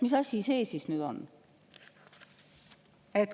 Mis asi see nüüd siis on?